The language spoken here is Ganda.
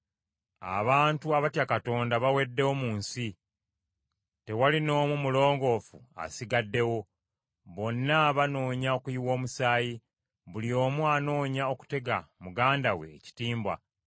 Abantu abatya Katonda, baweddewo mu nsi; tewali n’omu mulongoofu asigaddewo. Bonna banoonya okuyiwa omusaayi, buli omu anoonya okutega muganda we ekitimba.